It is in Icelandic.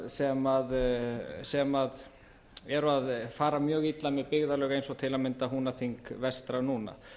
stofnfjárkaupa sem eru að fara mjög illa með byggðarlög eins og til að mynda húnaþing vestra núna